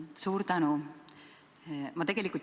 Suur tänu!